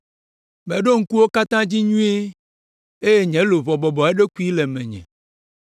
Meɖo ŋku wo katã dzi nyuie eye nye luʋɔ bɔbɔ eɖokui le menye.